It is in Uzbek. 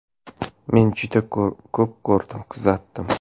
Men juda ko‘p ko‘rdim, kuzatdim.